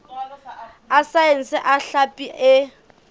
a saense a hlapi e